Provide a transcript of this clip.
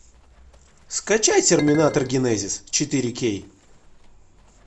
скачай терминатор генезис четыре кей